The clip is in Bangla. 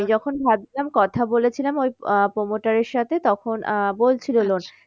আমি যখন ভাবছিলাম কথা বলেছিলাম ওই আহ promoter এর সাথে তখন আহ বলছিলো